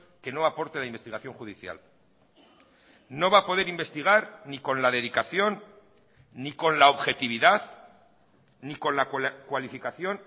que no aporte la investigación judicial no va a poder investigar ni con la dedicación ni con la objetividad ni con la cualificación